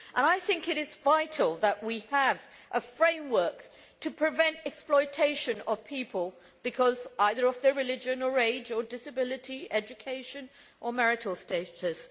I think it is vital that we have a framework to prevent exploitation of people because of their religion, age, disability, education or marital status.